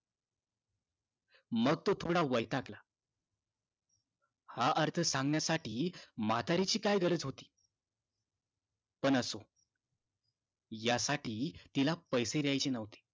मग तो थोडा वैतागला हे अर्थ सांगण्यासाठी म्हाताऱ्याची काय गरज होती पण असो या साठी तिला पॆसे द्यायचे न्हवते